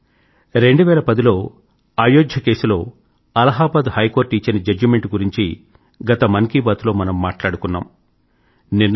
మిత్రులారా 2010లో అయోధ్య కేసులో అలహాబాద్ హై కోర్ట్ ఇచ్చిన జడ్జిమెంట్ గురించి గత మన్ కీ బాత్ లో మనం మాట్లాడుకున్నాం